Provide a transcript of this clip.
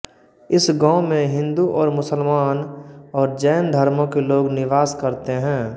इस गाँव में हिन्दू और मुसलमान और जैन धर्मो के लोग निवास करते है